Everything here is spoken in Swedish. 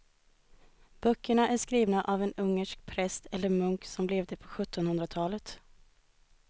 Böckerna är skrivna av en ungersk präst eller munk som levde på sjuttonhundratalet.